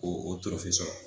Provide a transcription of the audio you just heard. Ko o tɔrɔfe sɔrɔ